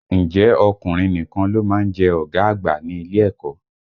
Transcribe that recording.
Ǹjẹ́ ọkùnrin nìkan ló má ń jẹ́ ọ̀gá àgbà ní ilé ẹ̀kọ́?